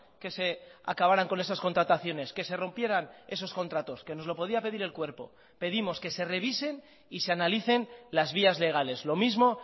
que se acabaran con esas contrataciones que se rompieran esos contratos que nos lo podía pedir el cuerpo pedimos que se revisen y se analicen las vías legales lo mismo